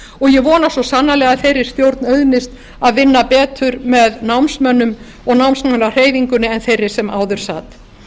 og ég vona svo sannarlega að þeirri stjórn auðnist að vinna betur með námsmönnum og námsmannahreyfingunni en þeirri sem áður sat